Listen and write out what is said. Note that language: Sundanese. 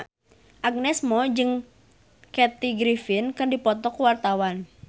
Agnes Mo jeung Kathy Griffin keur dipoto ku wartawan